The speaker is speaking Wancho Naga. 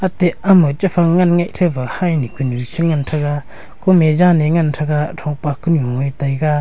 ateh ama chephang ngan ngeh chepha hynyu kunyu ngan taiga kume jan e ngan threga thongpak kanu e taiga.